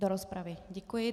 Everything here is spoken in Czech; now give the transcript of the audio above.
Do rozpravy, děkuji.